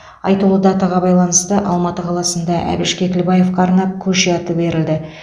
айтулы датаға байланысты алматы қаласында әбіш кекілбаевқа арнап көше аты берілді